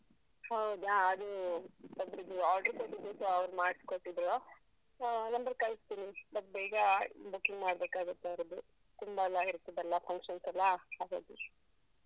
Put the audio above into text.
ಹೌದಾ? ಅದು ಒಬ್ರಿಗೆ order ಕೊಟ್ಟಿದ್ದಕ್ಕೆ ಅವರು ಮಾಡ್ಸ್ಕೊಟ್ಟಿದ್ರು. ಹ number ಕಳಿಸ್ತೀನಿ. ಮತ್ತ್ ಬೇಗ booking ಮಾಡ್ಬೇಕಾಗುತ್ತೆ ಅವರದ್ದು. ತುಂಬ ಎಲ್ಲ ಇರ್ತದಲ್ಲ functions ಎಲ್ಲಾ? ಹಾಗಾಗಿ.